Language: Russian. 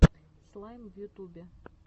слайм в ютубе